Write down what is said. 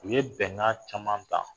U ye bɛnkan caman ta